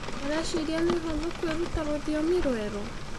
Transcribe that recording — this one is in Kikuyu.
Ũrecĩĩrĩa nĩ ũhũthũ kwĩrũta rũthĩomĩ rwerũ?